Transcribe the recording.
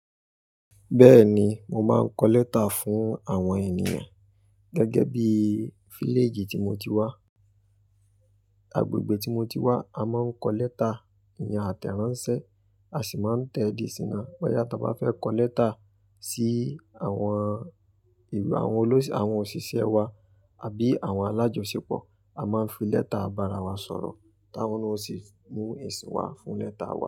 Bẹ́ẹ̀ni, mo máa ń kọ lẹ́tà fún àwọn ènìyàn. Gẹ́gẹ́ bí i fíléjì tí mo ti wà, agbègbè tí mo ti wà, a máa ń kọ lẹ́tà ìyen àtẹ̀ránsẹ́, a sì máa ń tẹ di isín yii naa. Bóyá tà bá fẹ́ kọ lẹ́tà sí àwọn ìwé, àwọn olóṣì, àwọn òṣìṣẹ́ wa àbí àwọn alájọṣepọ̀, a máa ń fi lẹ́tà barawà sọ̀rọ̀, táwọn na ó sì mú èsì wá fún lẹ́tà wa.